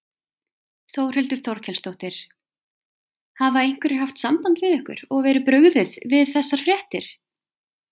Þórhildur Þorkelsdóttir: Hafa einhverjir haft samband við ykkur og verið brugðið við þessar fréttir?